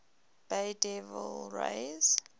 bay devil rays